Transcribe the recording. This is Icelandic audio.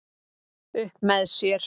Upp með sér